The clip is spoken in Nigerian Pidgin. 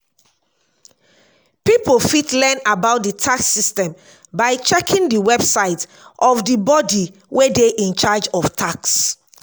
pipo fit learn about di yax system by checking di website of di body wey dey in charge of tax